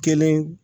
Kelen